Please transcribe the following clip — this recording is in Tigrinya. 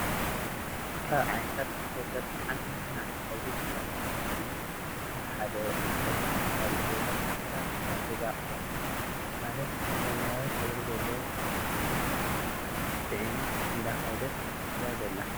ካብ ዓይነታት ተሽከርከርት ሓንቲ መኪና እንትከውን እዛ መኪና እዚ ካብ ሓደ ቦታ ናብ ካሊእ ቦታ ዝተፈላለዩ ናይ ገዛ ኣቁሕት ማለ ሰማይዊ ሕብሪ ዘለዎ ፊስቶታት ፂዒና እንዳከደት እያ ዘላ።